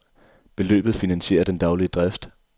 Beløbet finansierer den daglige drift.